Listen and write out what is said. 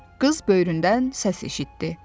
Qız böyründən səs eşitdi.